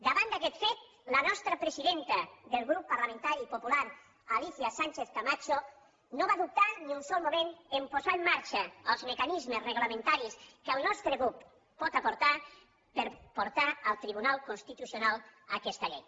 davant d’aquest fet la nostra presidenta del grup parlamentari popular alícia sánchez camacho no va dubtar ni un sol moment a posar en marxa els mecanismes reglamentaris que el nostre grup pot aportar per portar al tribunal constitucional aquesta llei